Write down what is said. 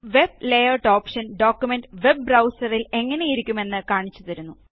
web layout ഓപ്ഷന് document web ബ്രൌസറിൽ എങ്ങനെയിരിക്കും എന്ന് കാണിച്ച് തരുന്നു